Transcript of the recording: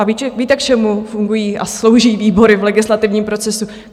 A víte, k čemu fungují a slouží výbory v legislativním procesu?